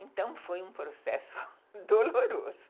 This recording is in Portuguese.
Então, foi um processo doloroso.